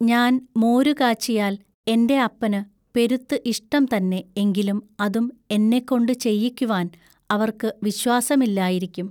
ഞാൻ മോരുകാച്ചിയാൽ എന്റെ അപ്പനുപെരുത്തു ഇഷ്ടം തന്നെ എങ്കിലും അതും എന്നെക്കൊണ്ടു ചെയ്യിക്കുവാൻ അവൎക്കു വിശ്വാസമില്ലായിരിക്കും.